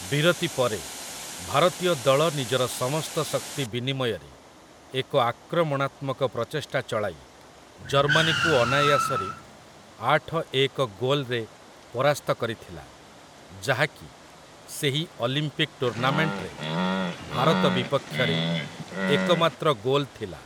ବିରତି ପରେ, ଭାରତୀୟ ଦଳ ନିଜର ସମସ୍ତ ଶକ୍ତି ବିନିମୟରେ ଏକ ଆକ୍ରମଣାତ୍ମକ ପ୍ରଚେଷ୍ଟା ଚଳାଇ, ଜର୍ମାନୀକୁ ଅନାୟାସରେ ଆଠ-ଏକ ଗୋଲ୍‌ରେ ପରାସ୍ତ କରିଥିଲା, ଯାହାକି, ସେହି ଅଲିମ୍ପିକ୍ ଟୁର୍ଣ୍ଣାମେଣ୍ଟରେ ଭାରତ ବିପକ୍ଷରେ ଏକମାତ୍ର ଗୋଲ୍ ଥିଲା ।